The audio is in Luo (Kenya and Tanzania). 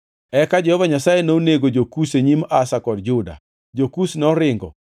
Eka Jehova Nyasaye nonego jo-Kush e nyim Asa kod Juda. Jo-Kush noringo